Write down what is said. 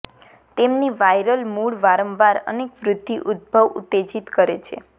તેમની વાયરલ મૂળ વારંવાર અનેક વૃદ્ધિ ઉદભવ ઉત્તેજિત કરે છે